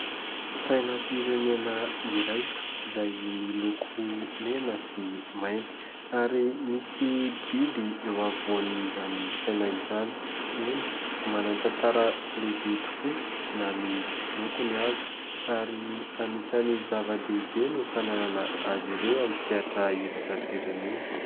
Sainam-pirenena iray izay miloko mena sy mainty ary misy biby eo afovoan'izany saina izany. Eny manantantara lehibe tokoa na ny lokony aza ary anisany zava-dehibe ny fananana azy ireo amin'ny sehatra iraisam-pirenena.